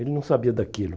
Ele não sabia daquilo.